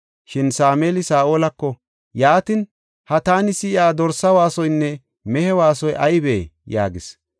Shin Sameeli Saa7olako, “Yaatin, ha taani si7iya dorsa waasoynne mehe waasoy aybee?” yaagis.